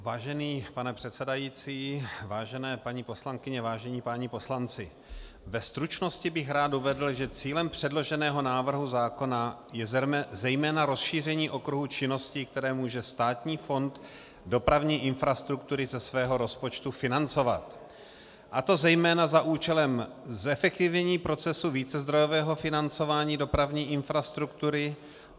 Vážený pane předsedající, vážené paní poslankyně, vážení páni poslanci, ve stručnosti bych rád uvedl, že cílem předloženého návrhu zákona je zejména rozšíření okruhu činností, které může Státní fond dopravní infrastruktury ze svého rozpočtu financovat, a to zejména za účelem zefektivnění procesu vícezdrojového financování dopravní infrastruktury.